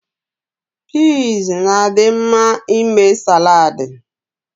Pizs is good for making salaadi.